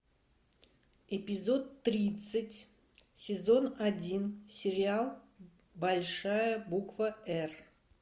эпизод тридцать сезон один сериал большая буква р